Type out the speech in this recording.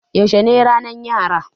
Yaushe ne ranar Yara?